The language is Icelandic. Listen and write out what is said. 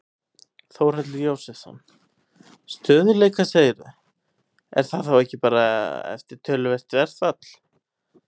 Þórhallur Jósefsson: Stöðugleika segirðu, er það þá ekki bara eftir töluvert verðfall?